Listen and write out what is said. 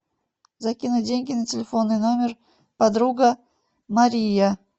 закинуть деньги на телефонный номер подруга мария